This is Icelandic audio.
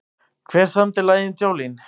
Hver samdi lagið um Jolene?